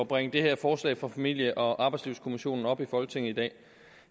bringe det her forslag fra familie og arbejdslivskommissionen op i folketinget i dag